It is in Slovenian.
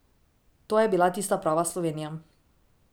To je bila tista prava Slovenija.